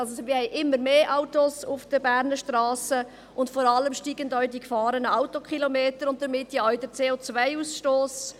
Also: Wir haben immer mehr Autos auf den Berner Strassen, und vor allem steigen auch die gefahrenen Autokilometer und damit ja auch der CO-Ausstoss.